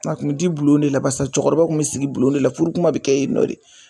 A kun mi di bulon de la basasa cɛkɔrɔba kun bi sigi bulon de la furukuma bi kɛ yennɔ de.